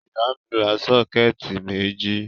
Ìyá mi ra sọ́kẹ́tì méjì.